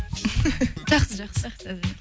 жақсы жақсы